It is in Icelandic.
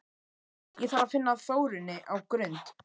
Ég þarf að finna Þórunni á Grund!